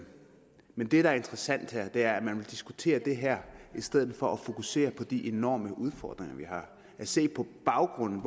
men det der er interessant er at man vil diskutere det her i stedet for at fokusere på de enorme udfordringer vi har og se på baggrunden